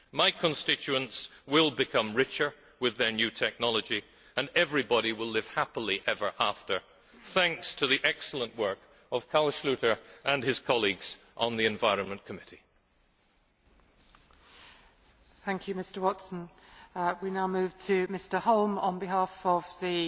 use. My constituents will become richer with their new technology, and everybody will live happily ever after thanks to the excellent work of Carl Schlyter and his colleagues on the Committee on